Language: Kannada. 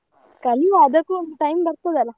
ಕಲಿವಾ ಅದಕ್ಕೂ ಒಂದು time ಬರ್ತದಲ್ಲ.